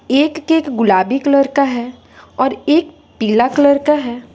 एक केक गुलाबी कलर का है और एक पीला कलर का है।